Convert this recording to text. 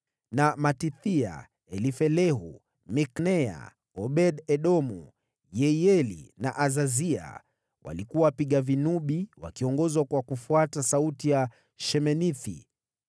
na Matithia, Elifelehu, Mikneya, Obed-Edomu, Yehieli na Azazia walikuwa wapiga vinubi, wakiongozwa kwa kufuata sauti ya sheminithi .